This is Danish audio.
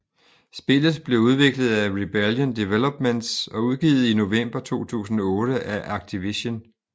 Spillet blev udviklet af Rebellion Developments og udgivet i november 2008 af Activision